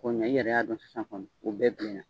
Ɔ mɛ i yɛrɛ y'a don sisan kɔni, u bɛɛ bilen na.